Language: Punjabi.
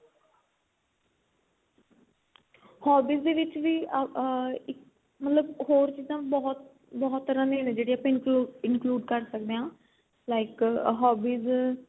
hobbies ਦੇ ਵਿੱਚ ਵੀ ਆ ਇੱਕ ਮਤਲਬ ਹੋਰ ਚੀਜਾ ਬਹੁਤ ਬਹੁਤ ਤਰਾਂ ਦੀਆਂ ਨੇ ਜਿਹੜੀ ਆਪਾਂ include include ਕਰ ਸਕਦੇ ਆ like hobbies